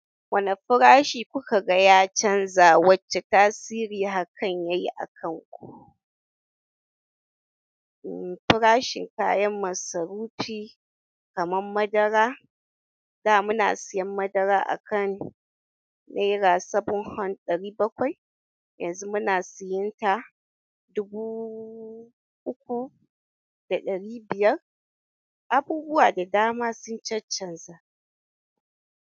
Wane farashi kuka ga ya canza, wacce tasiri hakan yayi a kanku? Mm, farashin kayan masarufi kamar madara. Da muna siyan madara a kan naira saven-- ɗari bakwai, yanzu muna siyan ta dubu uku da ɗari biyar. Abubuwa da dama sun cancanza.